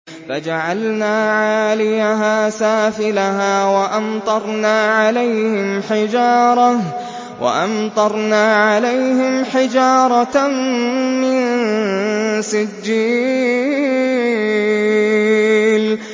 فَجَعَلْنَا عَالِيَهَا سَافِلَهَا وَأَمْطَرْنَا عَلَيْهِمْ حِجَارَةً مِّن سِجِّيلٍ